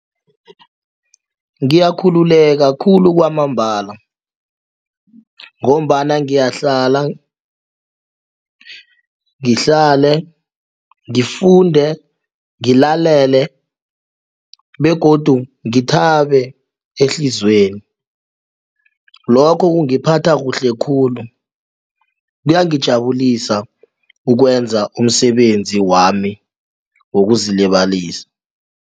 Ngiyakhululeka khulu kwamambala ngombana ngiyahlala, ngihlale ngifunde, ngilalele begodu ngithabe ehliziyweni lokho kungiphatha kuhle khulu kuyangijabulisa ukwenza umsebenzi wami wokuzilibalisa.